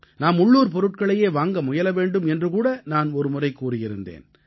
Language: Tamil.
நாம் உள்ளூர் பொருட்களையே வாங்க முயல வேண்டும் என்று கூட நான் ஒருமுறை கூறியிருந்தேன்